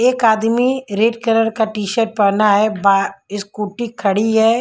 एक आदमी red colour का टी शर्ट पहना है बा इस्कूटी खड़ी है।